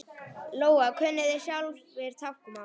Lóa: Kunnið þið sjálfir táknmál?